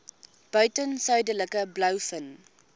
buiten suidelike blouvin